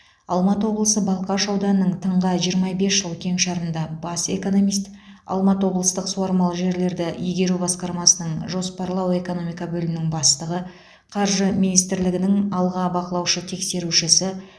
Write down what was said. алматы облысы балқаш ауданының тыңға жиырма бес жыл кеңшарында бас экономист алматы облыстық суармалы жерлерді игеру басқармасының жоспарлау экономика бөлімінің бастығы қаржы министрлігінің аға бақылаушы тексерушісі